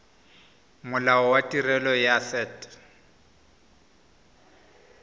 molao wa tirelo ya set